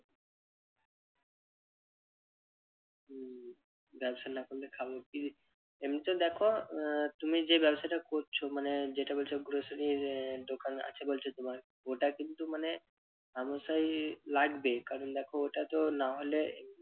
ব্যবসা না করলে খাবো কি? এমনিতে দেখো আহ তুমি যে ব্যবসাটা করছো মানে যেটা বলছো grocery আহ দোকান আছে বলছো তোমার ওটা কিন্তু মানে হামেশাই লাগবে কারণ দেখো ওটা তো না হলে